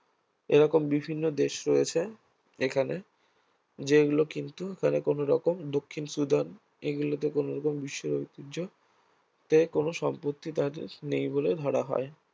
এরকম বিভিন্ন দেশ রয়েছে এখানে যেগুলো কিন্তু এখানে কোনরকম দক্ষিণ সুদান এগুলোতে কোন রকম বিশ্বের ঐতিহ্য তে কোন সম্পত্তি তাদের নেই বলে ধরা হয়